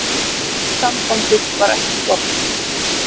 Sambandið var ekki gott.